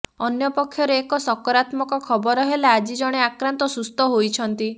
ଅନ୍ୟ ପକ୍ଷରେ ଏକ ସକରାତ୍ମକ ଖବର ହେଲା ଆଜି ଜଣେ ଆକ୍ରାନ୍ତ ସୁସ୍ଥ ହୋଇଛନ୍ତି